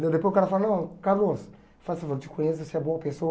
Daí depois o cara fala, não, Carlos, faça favor, te conheço, você é boa pessoa.